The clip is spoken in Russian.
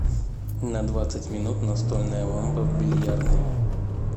на двадцать минут настольная лампа в бильярдной